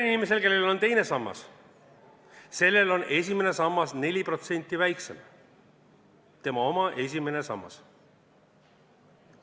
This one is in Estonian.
Inimesel, kellel on teine sammas, on esimene sammas 4% väiksem, tema oma esimene sammas.